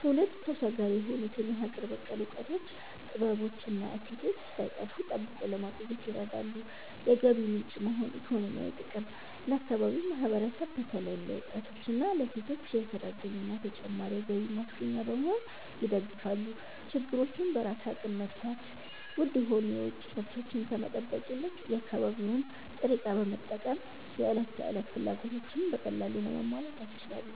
ትውልድ ተሻጋሪ የሆኑትን የሀገር በቀል እውቀቶች፣ ጥበቦች እና እሴቶች ሳይጠፉ ጠብቆ ለማቆየት ይረዳሉ። የገቢ ምንጭ መሆን (ኢኮኖሚያዊ ጥቅም)፦ ለአካባቢው ማህበረሰብ በተለይም ለወጣቶችና ለሴቶች የሥራ ዕድልና ተጨማሪ የገቢ ማስገኛ በመሆን ይደግፋሉ። ችግሮችን በራስ አቅም መፍታት፦ ውድ የሆኑ የውጭ ምርቶችን ከመጠበቅ ይልቅ የአካባቢውን ጥሬ ዕቃ በመጠቀም የዕለት ተዕለት ፍላጎቶችን በቀላሉ ለማሟላት ያስችላሉ።